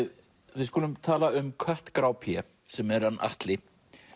við skulum tala um kött grá sem er hann Atli